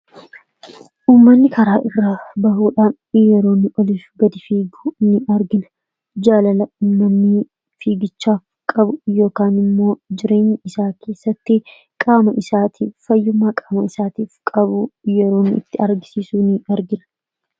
Uumanni karaa irra ba'uudhaan yeroonni oliif gadi fiigu ni argina jaalala uumanni fiigichaaf qabu yookaan immoo jireenya isaa keessatti qaama isaatiif fayyummaa qaama isaatiif qabu yeroonni itti argisiisu ni argira